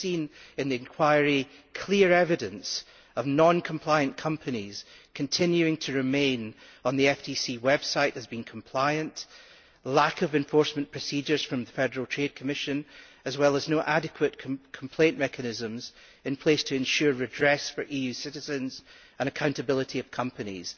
We have seen in the inquiry clear evidence of non compliant companies continuing to remain on the Federal Trade Commission website as being compliant, lack of enforcement procedures from the FTC, as well as no adequate complaint mechanisms in place to ensure redress for EU citizens and accountability of companies.